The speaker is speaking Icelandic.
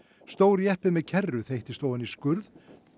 stór jeppi með kerru þeyttist ofan í skurð